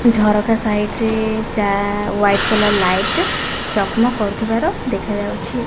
ଝରକା ସାଇଡ୍ ରେ ଚା ହ୍ୱାଇଟ୍ କଲର୍ ଲାଇଟ୍ ଚକ୍ ମକ୍ କରୁଥିବାର ଦେଖାଯାଉଛି।